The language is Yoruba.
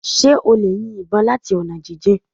Ṣé o lè yin ìbọn láti ọ̀nà jíjìn